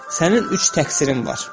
Sənin üç təqsirin var.